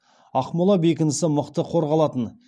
ақмола бекінісі мықты қорғалатын